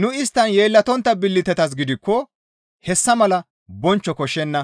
Nu isttan yeellatontta billitetas gidikko hessa mala bonchcho koshshenna;